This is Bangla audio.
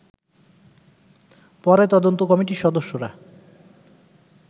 পরে তদন্ত কমিটির সদস্যরা